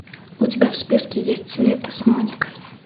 у тебя в списке есть лето с моникой